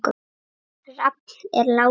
Rafn er látinn.